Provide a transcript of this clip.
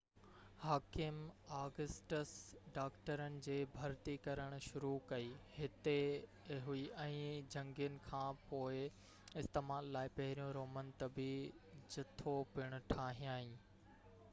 حاڪم آگسٽس ڊاڪٽرن جي ڀرتي ڪرڻ شروع ڪئي هئي ۽ جنگين کان پوءِ استعمال لاءِ پهريون رومن طبي جٿو پڻ ٺاهيائين